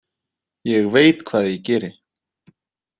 Ég veit hvað ég geri.